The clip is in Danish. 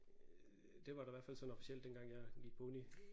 Øh det var der i hvert fald sådan officielt dengang jeg gik på uni